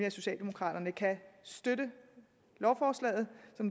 at socialdemokraterne kan støtte lovforslaget